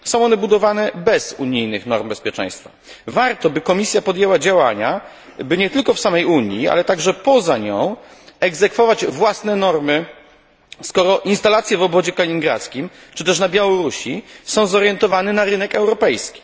Są one budowane bez unijnych norm bezpieczeństwa. Warto, by Komisja podjęła działania, by nie tylko w samej Unii, ale także poza nią egzekwować własne normy, skoro instalacje w Obwodzie Kaliningradzkim czy też na Białorusi są zorientowane na rynek europejski.